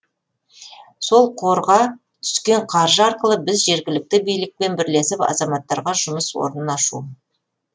сол қорға түскен қаржы арқылы біз жергілікті билікпен бірлесіп азаматтарға жұмыс орнын ашу